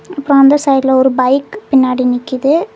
அப்றம் அந்த சைடுல ஒரு பைக் பின்னாடி நிக்குது.